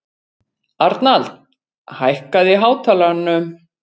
Arnald, hækkaðu í hátalaranum.